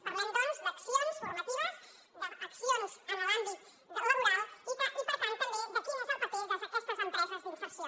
parlem doncs d’accions formatives d’accions en l’àmbit laboral i per tant també de quin és el paper d’aquestes empreses d’inserció